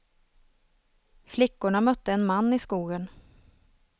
Flickorna mötte en man i skogen.